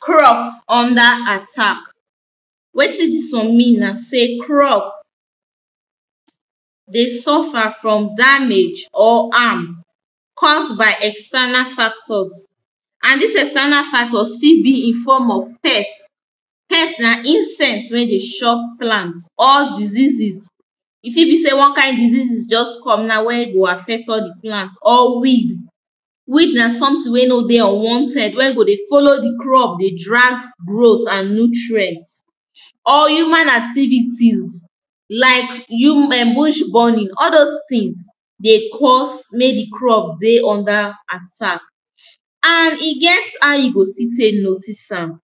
crop under attack wetin dis wan mean na sey crop dey sufa from damage or harm caused by external factors an dis external factors fit bi in form of pest pest na insect wey de chop plant or diseases e fit bi wey wan kin disease juz come now wey go afect al de plant or wid weed na somtin wey no de unwanted wey go de folow de krup de drag growth an nutrient or human activitiz like hu em bush burning al dose tins de cause mek de crop dey under atack an e get how yu go stil tek notice am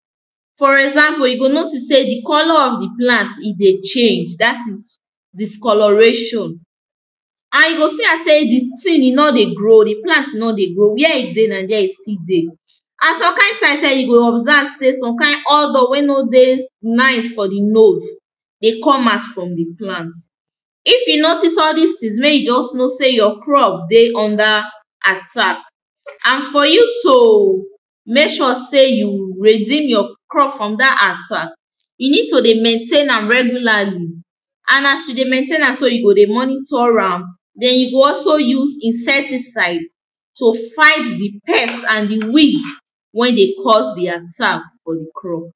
fo example yu go notice sey de color of de plant e de change dat is discoloration an yu go si sey de tin e nor de grow de plant were e dey na der de still dey an som kin tin sef yu go observe sey som kin odour wey no de nice fo de nose dey com out from de plant if yu notice al dis tins mek yu juz know sey yur crop de under atack an fo ju to mek sure sey yu reedem yur crop from dat atack yu nid to de maintain am regularli an as yu de maintain am so yu go de monitor am den yu go also use insecticide to fight de pest an de wid wen de cause atack for de crop.